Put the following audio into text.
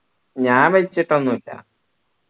ഞാൻ വെച്ചിട്ടൊന്നില്ല